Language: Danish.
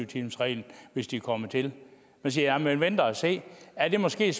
timersreglen hvis de kommer til man siger at man vil vente og se er der måske